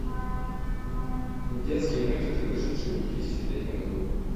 детские мультики вышедшие в две тысячи третьем году